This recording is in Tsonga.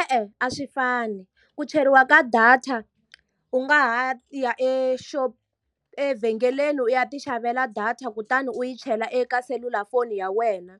E-e a swi fani. Ku cheriwa ka data u nga ha ya e evhengeleni u ya ti xavela data kutani u ti chelela eka selulafoni ya wena.